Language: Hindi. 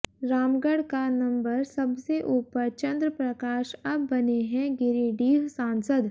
रामगढ़ का नंबर सबसे ऊपर चंद्रप्रकाश अब बने हैं गिरिडीह सांसद